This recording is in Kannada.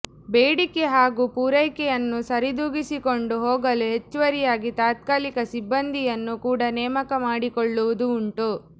ಬೇಡಿಕೆ ಹಾಗೂ ಪೂರೈಕೆಯನ್ನು ಸರಿದೂಗಿಸಿಕೊಂಡು ಹೋಗಲು ಹೆಚ್ಚುವರಿಯಾಗಿ ತಾತ್ಕಾಲಿಕ ಸಿಬ್ಬಂದಿಯನ್ನು ಕೂಡ ನೇಮಕ ಮಾಡಿಕೊಳ್ಳುವುದೂ ಉಂಟು